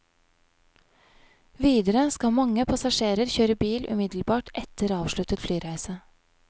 Videre skal mange passasjerer kjøre bil umiddelbart etter avsluttet flyreise.